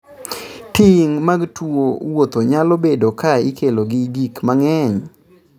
Tieng' mag tuo wuotho nyalo bedo ka ikelo gi gik mang'eny